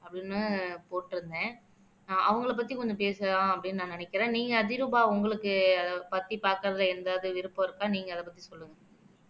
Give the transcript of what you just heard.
அப்படின்னு போட்டு இருந்தேன் அஹ் அவங்களைப் பத்தி கொஞ்சம் பேசலாம் அப்படின்னு நான் நினைக்கிறேன் நீங்க அதிரூபா உங்களுக்கு அதைப் பத்தி பார்க்கறதுல ஏதாவது விருப்பம் இருக்கா நீங்க அதைப் பத்தி சொல்லுங்க